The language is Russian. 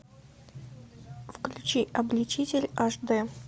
включи обличитель аш дэ